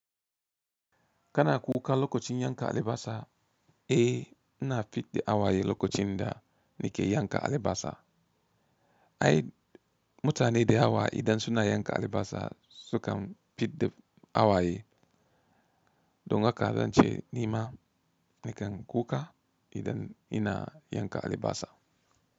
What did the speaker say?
Kana kuka lokacin yanka alibasa, eh, na fid da awaye lokacin da nake yanka alibasa. Ai, mutane da hawa idan suna yanka alibasa sukan fid da awaye. Don haka zance nima nakan kuka idan ina yanka alibasa.